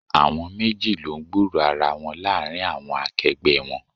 Àwọn méjì lọ ń gburo ara wọn láàárín àwọn akẹgbẹ́ wọn.